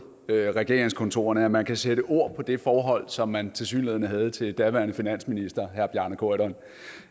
regeringskontorerne at man kan sætte ord på det forhold som man tilsyneladende havde til daværende finansminister herre bjarne corydon